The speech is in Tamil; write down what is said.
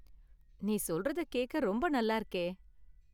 நீ சொல்றத கேக்க ரொம்ப நல்லா இருக்கே!